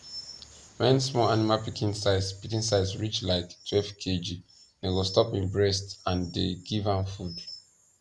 when small animal pikin size pikin size reach like twelve kg dem go stop im breast and dey give am food